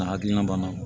N'a hakilina banna